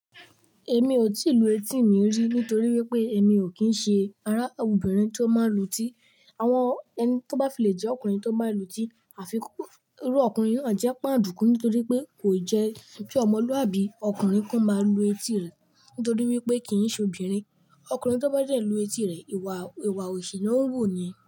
Èmi ò tíì lu etí mi rí nítorí wípé èmi ò kín ṣe ará obìnrin tí ó máa ń lu etí. Àwọn ẹni tó bá filé jẹ́ ọkùnrin tó bá lu etí, àfikún irú ọkùnrin náà jẹ́ pàǹdùkú nítorí pé kò jẹ́ ki ọmọlúàbí ọkùnrin kó máa lu etí rẹ̀ nítorí wípé kì í ṣe obìnrin. Ọkùnrin tó bá jẹ̀ lu etí rẹ̀, ìwà òṣhi ná ń wò ó yen.